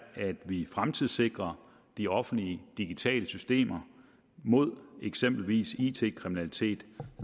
at vi fremtidssikrer de offentlige digitale systemer mod eksempelvis it kriminalitet